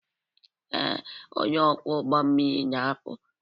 Ee, onye ọkwọ ụgbọ mmiri na-apụ.